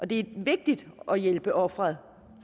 det er vigtigt at hjælpe offeret